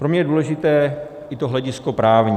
Pro mě je důležité i to hledisko právní.